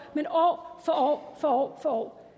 men år for år for år